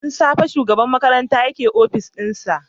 Tun safe shugaban makarantayake opis dinsa.